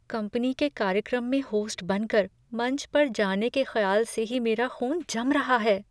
Company के कार्यक्रम में होस्ट बनकर मंच पर जाने के ख़्याल से ही मेरा ख़ून जम रहा है।